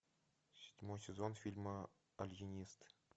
седьмой сезон фильма алиенист